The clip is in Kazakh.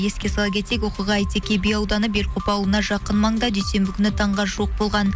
еске сала кетейік оқиға айтеке би ауданы белкоп ауылына жақын маңда дүйсенбі күні таңға жуық болған